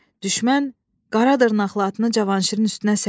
Düşmən qara dırnaqlı atını Cavanşirin üstünə səyirtdi.